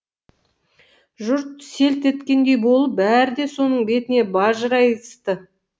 жұрт селт еткендей болып бәрі де соның бетіне бажырайысты